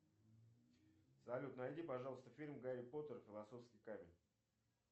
салют найди пожалуйста фильм гарри поттер и философский камень